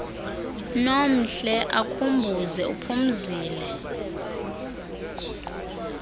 nomhle akhumbuze uphumzile